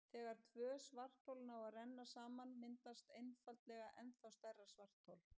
Þegar tvö svarthol ná að renna saman myndast einfaldlega ennþá stærra svarthol.